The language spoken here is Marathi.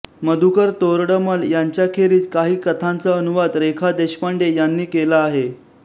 मधुकर तोरडमल यांच्याखेरीज काही कथांचा अनुवाद रेखा देशपांडे यांनी केला आहे